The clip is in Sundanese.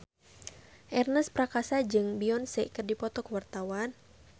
Ernest Prakasa jeung Beyonce keur dipoto ku wartawan